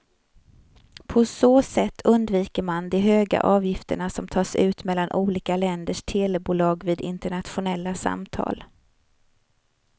På så sätt undviker man de höga avgifter som tas ut mellan olika länders telebolag vid internationella samtal.